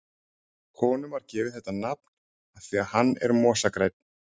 Honum var gefið þetta nafn af því að hann er mosagrænn.